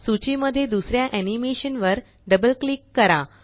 सूची मध्ये दुसऱ्या एनीमेशन वर डबल क्लिक करा